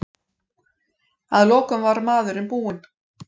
Að lokum var maðurinn búinn.